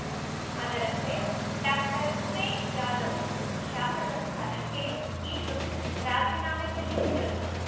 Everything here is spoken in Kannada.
ಅದರಂತೆ ಡಾಕ್ಟರ್ ಉಮೇಶ್ ಜಾಧವ್ ಶಾಸಕ ಸ್ಥಾನಕ್ಕೆ ಇಂದು ರಾಜೀನಾಮೆ ಸಲ್ಲಿಸಿದರು